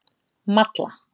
Malla